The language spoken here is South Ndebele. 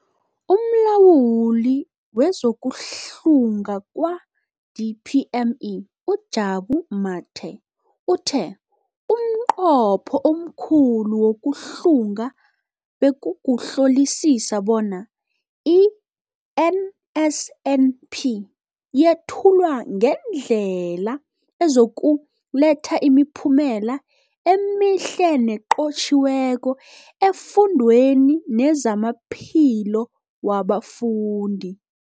UmLawuli wezokuHlunga kwa-DPME, uJabu Mathe, uthe umnqopho omkhulu wokuhlunga bekukuhlolisisa bona i-NSNP yethulwa ngendlela ezokuletha imiphumela emihle nenqotjhiweko efundweni nezamaphilo wabafundi.